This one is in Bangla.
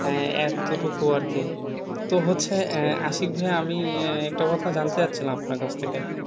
হ্যাঁ এতটুকু আরকি। তো হচ্ছে আহ আশিক ভাইয়া আমি আহ একটা কথা যানতে চাচ্ছিলাম আপনার থেকে?